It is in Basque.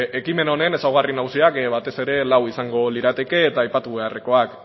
ekimen honen ezaugarri nagusiak batez ere lau izango lirateke eta aipatu beharrekoak